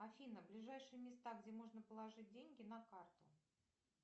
афина ближайшие места где можно положить деньги на карту